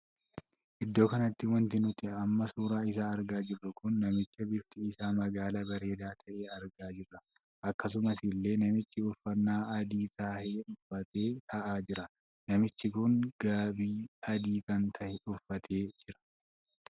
Iddoo kanatti wanti nuti amma suuraa isaa argaa jirru kun namicha bifti isaa magaala bareedaa tahee argaa jirra. akkasuma illee namichi uffannaa adii tahee uffatee taa'aa jira. namichi kun gaabii adii kan tahee uffatee jira.